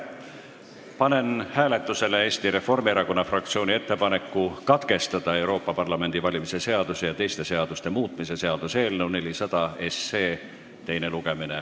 Panen hääletusele Eesti Reformierakonna fraktsiooni ettepaneku katkestada Euroopa Parlamendi valimise seaduse ja teiste seaduste muutmise seaduse eelnõu 400 teine lugemine.